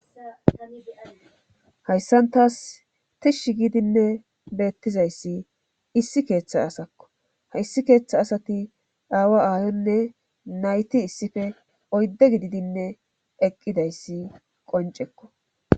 hayssantas tishshi gidinne beettizayssi issi keeththa asakko hayssi keeththa asati dhaawa aayonne nayti issife oydde gididinne eqqidayssi qoncekko